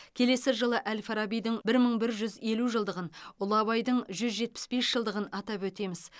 келесі жылы әл фарабидің бір мың бір жүз елу жылдығын ұлы абайдың жүз жетпіс бес жылдығын атап өтеміз